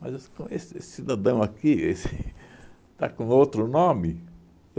Mas com esse esse cidadão aqui esse está com outro nome?